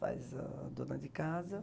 Faz, ahn, dona de casa.